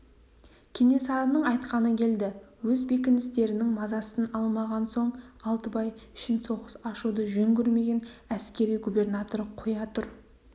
кенесарының айтқаны келді өз бекіністерінің мазасын алмаған соң алтыбай үшін соғыс ашуды жөн көрмеген әскери губернатор қоя тұр